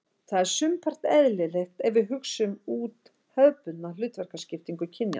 Það er sumpart eðlilegt ef við hugsum út hefðbundna hlutverkaskiptingu kynjanna.